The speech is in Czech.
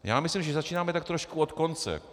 Já myslím, že začínáme tak trošku od konce.